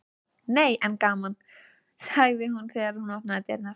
Nei en gaman, sagði hún þegar hún opnaði dyrnar.